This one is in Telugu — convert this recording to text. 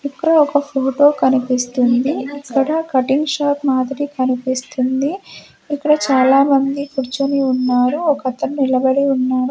ఇక్కడ ఒక ఫోటో కనిపిస్తుంది ఇక్కడ కటింగ్ షాప్ మాదిరి కనిపిస్తుంది ఇక్కడ చాలామంది కుర్చుని ఉన్నారు ఒకతను నిలబడి ఉన్నాడు.